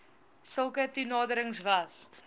sulke toenaderings was